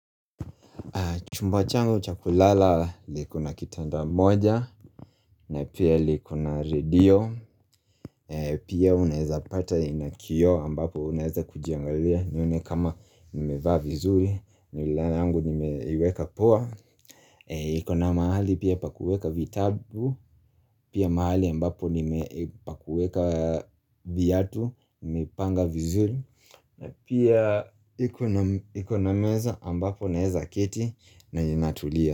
Chumba changu chakulala liko na kitanda moja, na pia liko na radio, pia unaweza pata inaa kioo ambapo unaweza kujiangalia, nione kama nimevaa vizuri, mirror yangu nimeiweka poa. Iko na mahali pia pakuweka vitabu, pia mahali ambapo nimepakuweka viatu, nimepanga vizuri, na pia ikona meza ambapo unaweza keti na nina tulia.